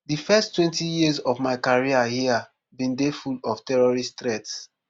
di first twenty years of my career hia bin dey full of terrorist threats